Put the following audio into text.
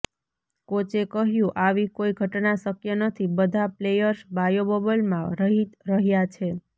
કોચે કહ્યું આવી કોઈ ઘટના શક્ય નથી બધા પ્લેયર્સ બાયો બબલમાં રહી રહ્યાં છે